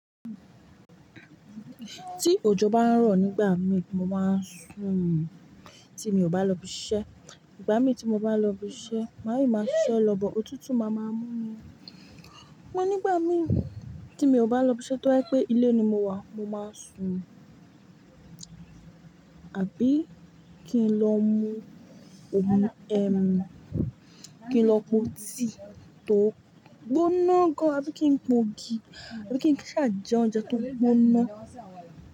Tí òjò bá ń rọ̀ nígbà mi, mo máa ń sùn, tí mi ò bá lọ ibi iṣẹ́. Ìgbà mí tí mo bá lọ ibi iṣẹ́, màá yí máa ṣiṣẹ lọ̀, bọ òtútù máa máa mú ni. Amọ́ nígbà mi tí mi ò bá lọ ibi iṣẹ́ tó ba jẹ pé ilé ni mo wà, mo máa sùn. Àbí kí n lọ mu omi, ẹm, kí n lọ po tíì tó gbóná gan an, àbí kí n po ogi, àbí kí n kí n ṣá jẹ oúnjẹ tó gbóná.